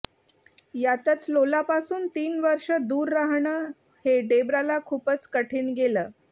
यातच लोलापासून तीन वर्ष दूर राहणं हे डेब्राला खूपच कठीण गेलं